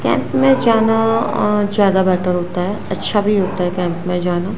Camp में जाना अह ज्यादा बैटर होता है अच्छा भी होता है कैंप में जाना।